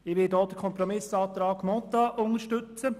Ich werde auch die Kompromiss-Planungserklärung Mentha unterstützen.